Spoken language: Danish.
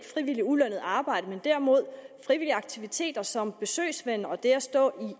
frivilligt ulønnet arbejde men derimod frivillige aktiviteter som besøgsven og det at stå